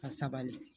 Ka sabali